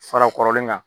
Fara kɔrɔlen kan